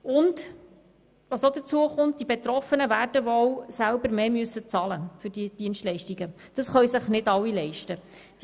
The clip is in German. Hinzu kommt auch, dass die Betroffenen dann wohl selber mehr für die Dienstleistungen werden bezahlen müssen, was sich nicht alle leisten können.